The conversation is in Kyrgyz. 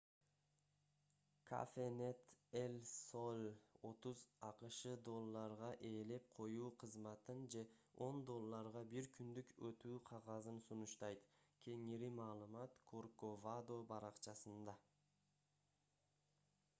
cafenet el sol 30 акш долларга ээлеп коюу кызматын же 10 долларга бир күндүк өтүү кагазын сунуштайт кеңири маалымат корковадо баракчасында